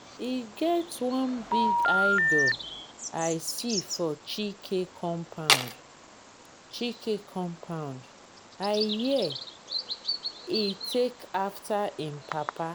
e get one big idol i see for chike compound chike compound i hear he take after im papa